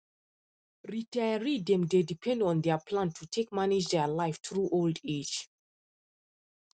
retiree dem dey depend on their plan to take manage their life through old age